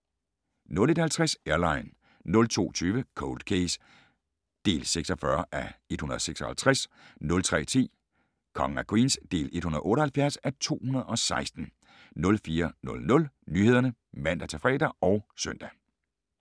01:50: Airline 02:20: Cold Case (46:156) 03:10: Kongen af Queens (178:216) 04:00: Nyhederne (man-fre og søn)